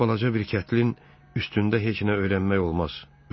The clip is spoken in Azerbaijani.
Belə balaca bir kətlə üstündə heç nə öyrənmək olmaz.